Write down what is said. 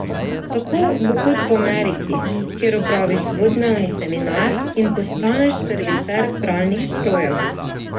Tako bo kot v Ameriki, kjer opraviš dvodnevni seminar in postaneš serviser pralnih strojev.